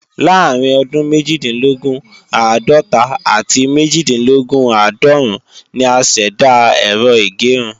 Láàárín ọdún méjìdínlógún- àádọ́ta àti méjìdínlógún-àádọ́rún ni a ṣẹ̀dá Ẹ̀rọ ìgẹrun